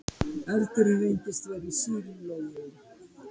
Eldurinn reyndist vera í sílói